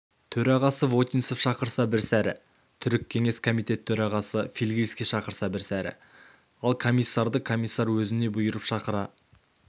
төрағасы вотинцев шақырса бір сәрі түрік кеңес комитеті төрағасы фигельский шақырса бір сәрі ал комиссарды комиссар өзіне бұйырып шақыра